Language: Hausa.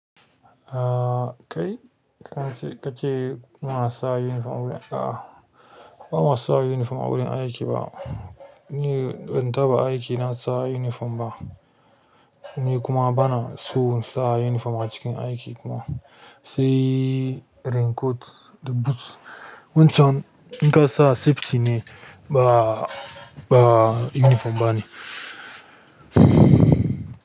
Ah kai ka ce ka ce muna sa uniform wurin. A'a ba mu sa uniform a wurin aiki ba. Ni ban taɓa aiki na sa uniform ba. Ni kuma bana so in sa uniform a cikin aiki kuma. Sai raincoat da boots. Wancan in ka sa safety ne ba, ba uniform ba ne.